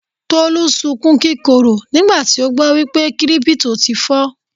Tolú sunkún kíkorò nígbà tí ó gbọ́ wípé Kírípútò ti fọ́.